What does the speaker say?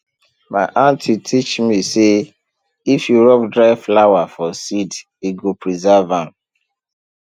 my aunty teach me say if you rub dry flour for seed e go preserve am